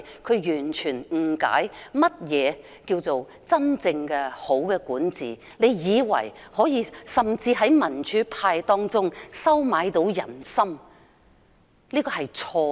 她完全不理解何謂真正的良好管治，她甚至以為可以收買民主派的人心，這是錯誤的。